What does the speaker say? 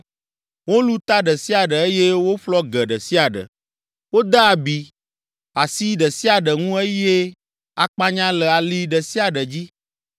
Wolũ ta ɖe sia ɖe eye woƒlɔ ge ɖe sia ɖe, wode abi asi ɖe sia ɖe ŋu eye akpanya le ali ɖe sia ɖe dzi.